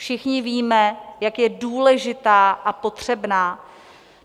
Všichni víme, jak je důležitá a potřebná.